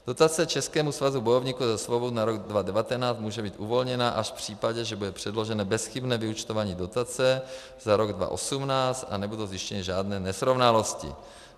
Dotace Českému svazu bojovníků za svobodu na rok 2019 může být uvolněna až v případě, že bude předloženo bezchybné vyúčtování dotace za rok 2018 a nebudou zjištěny žádné nesrovnalosti.